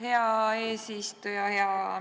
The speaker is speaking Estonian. Hea eesistuja!